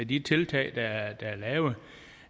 de tiltag der er